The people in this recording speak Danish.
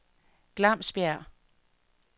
Glamsbjerg